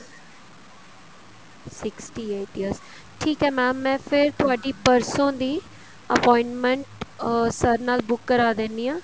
sixty eight years ਠੀਕ ਹੈ mam ਮੈਂ ਫੇਰ ਤੁਹਾਡੀ ਪਰਸੋੰ ਦੀ appointment sir ਨਾਲ ਬੁੱਕ ਕਰਵਾ ਦਿੰਨੀ ਹਾਂ